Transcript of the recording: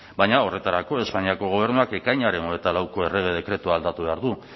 baina horretarako espainiako gobernuak ekainaren hogeita lauko errege dekretua aldatu behar du